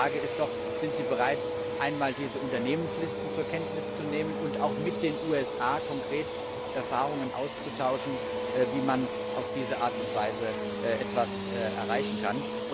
Die Frage ist doch Sind Sie bereit, einmal diese Unternehmenslisten zur Kenntnis zu nehmen und auch mit den USA konkret Erfahrungen auszutauschen, wie man auf diese Art und Weise etwas erreichen kann?